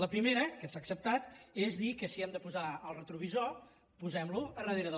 la primera que s’ha acceptat és dir que si hem de posar el retrovisor posem lo al darrere del